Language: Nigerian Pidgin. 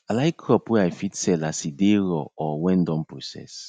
i like crop wey i fit sell as e dey raw or wen don process